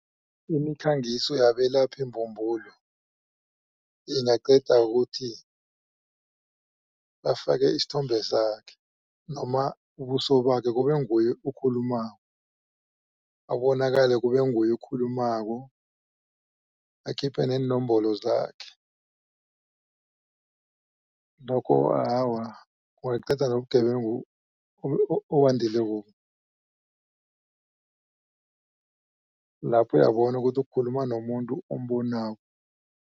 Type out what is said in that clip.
Imikhangiso yabelaphi mbumbulu ingaqedwa ukuthi bafake isithombe sakhe noma ubuso bakhe kubenguye okhulumako abonakale kubenguye okhulumako akhiphe neenomboro zakhe. Lokho awa kungaqeda nobugebengu obandilekobu. Lapho uyabona ukuthi kukhuluma nomuntu ombonako.